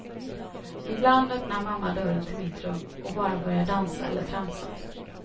Ibland öppnar mamma dörren till mitt rum, och bara börjar dansa eller tramsa.